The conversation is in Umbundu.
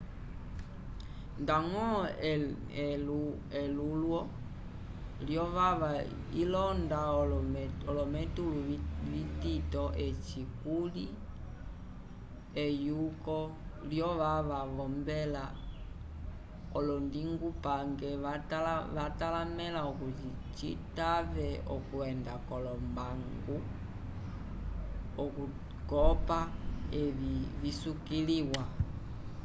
ndañgo elulwo lyovava ilonda olometulu vitito eci kuli eyuko lyovava v'ombela olondingupange vatalamẽla okuti citave okwenda k'olombangu okukopa evi visukiliwa